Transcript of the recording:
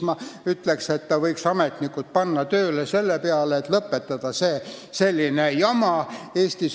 Ta võiks panna ametnikud tööle selle nimel, et selline jama lõpetada.